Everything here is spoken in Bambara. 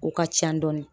U ka ca dɔɔni